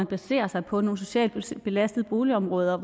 baserer sig på nogle socialt belastede boligområder